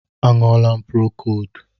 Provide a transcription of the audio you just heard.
A ṅụọlam procodu